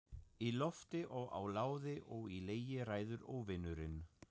Í lofti og á láði og í legi ræður Óvinurinn.